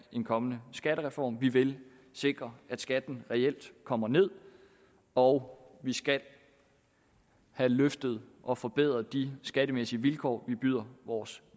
en kommende skattereform vi vil sikre at skatten reelt kommer ned og vi skal have løftet og forbedret de skattemæssige vilkår vi byder vores